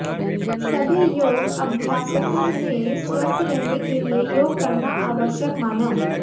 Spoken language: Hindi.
सभी योग अभ्यासकों ने स्वस्थ रहने के लिए योग करना आवश्यक माना